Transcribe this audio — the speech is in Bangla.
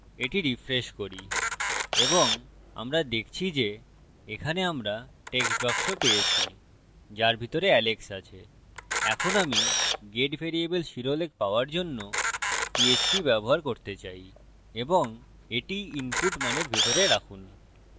এটি refresh করি এবং আমরা দেখছি যে এখানে আমরা text box পেয়েছি যার ভিতরে alex আছে এখন আমি get ভ্যারিয়েবল শিরোলেখ পাওয়ার জন্য পীএচপী ব্যবহার করতে চাই এবং এটি input মানের ভিতরে রাখুন